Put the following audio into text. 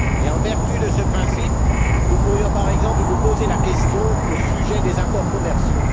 En vertu de ce principe, nous pourrions par exemple nous poser la question au sujet des accords commerciaux.